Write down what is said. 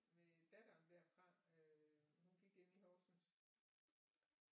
Med daværende derfra hun gik inde i Horsens